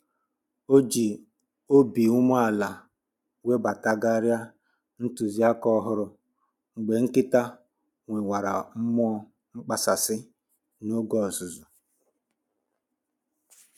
O ji obi umeala webatagharịa ntụziaka ọhụrụ mgbe nkịta nwewara mmụọ mkpasasị n'oge ọzụzụ